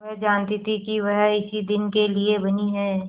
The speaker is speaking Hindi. वह जानती थी कि वह इसी दिन के लिए बनी है